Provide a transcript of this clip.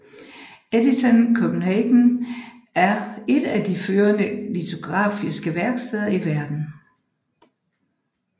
Edition Copenhagen er et af de førende litografiske værksteder i verden